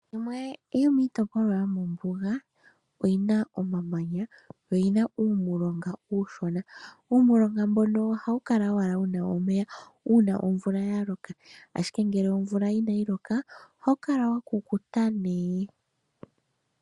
Yimwe yomitopolwa yomombuga oyina omamanya yo oyina uumilonga uushona. Uumilonga mboka ohawu kala owala wuna omeya uuna omvula haloka omanga ngele inayi loka ohawu kala wakukuta.